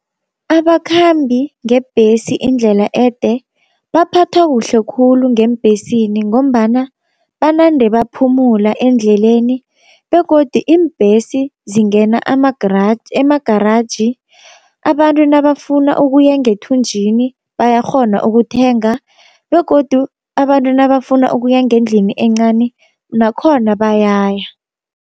Abakhambi ngebhesi indlela ede baphathwa kuhle khulu ngeembhesini, ngombana banande baphumula endleleni begodi iimbhesi zingena ema-garage abantu nabafuna ukuya ngethunjini bayakghona ukuthenga, begodu abantu nabafuna ukuya ngendlini encani nakhona bayaya.